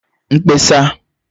mkpesa